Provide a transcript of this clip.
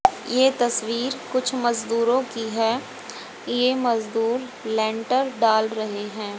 ये तस्वीर कुछ मजदूरों की हैं ये मजबूर लेंटर डाल रहे है।